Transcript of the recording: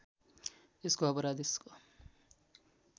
यसको अपराध यसको